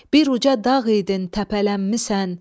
Bir uca dağ idin, təpələnmisən.